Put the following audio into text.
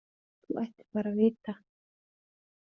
Þú ættir bara að vita.